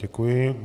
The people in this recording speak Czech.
Děkuji.